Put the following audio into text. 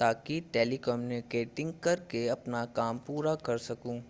ताकि टेलीकम्युटिंग करके अपना काम पूरा कर सकूं